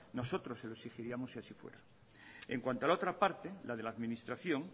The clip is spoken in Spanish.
nosotros se lo exigiríamos si así fuera en cuanto a la otra parte la de la administración